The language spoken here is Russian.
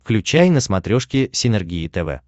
включай на смотрешке синергия тв